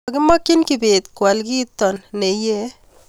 Kakimakchin Kibet kwal kito ne eiy